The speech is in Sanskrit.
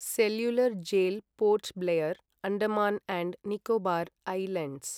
cellular Jail Port Blair, Andaman and Nicobar islands